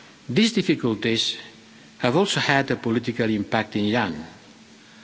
These difficulties have also had a political impact in Iran.